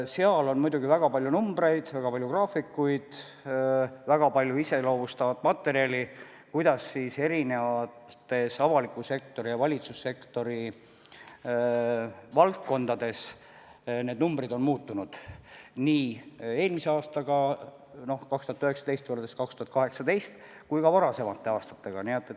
Seal on muidugi väga palju numbreid, väga palju graafikuid, väga palju iseloomustavat materjali, kuidas erinevates avaliku sektori ja valitsussektori valdkondades need numbrid on muutunud eelmisel aastal, 2019. aastal võrreldes nii 2018. aastaga kui ka varasemate aastatega.